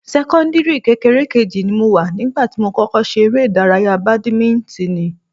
Sẹ́kọ́ńdìrì kékeré kejì ni mo wà nígbà tí mo kọ́kọ́ ṣe eré ìdárayá badimíntíìnì